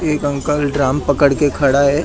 एक uncle drum पड़क के खड़ा है।